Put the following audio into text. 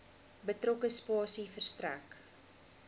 betrokke spasie verstrek